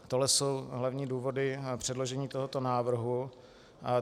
Tohle jsou hlavní důvody předložení tohoto návrhu.